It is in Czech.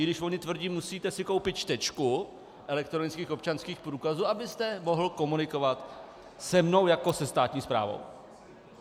I když oni tvrdí - musíte si koupit čtečku elektronických občanských průkazů, abyste mohl komunikovat se mnou jako se státní správou.